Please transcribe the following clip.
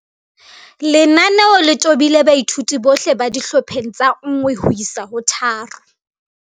Lenaneo le tobile baithuti bohle ba dihlopheng tsa 1 ho isa 3